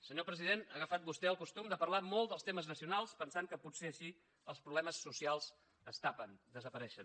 senyor president ha agafat vostè el costum de parlar molt dels temes nacionals pensant que potser així els problemes socials es tapen desapareixen